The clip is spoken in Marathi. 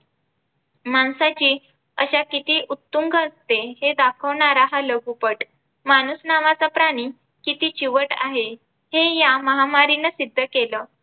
माणसाची अशा किती उत्तुंग असते हे दाखवणारा हा लघुपट. माणूस नावाचा प्राणी किती चिवट आहे हे या महामारीने सिद्ध केलं